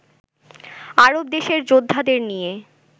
আরব দেশের যোদ্ধাদের নিয়ে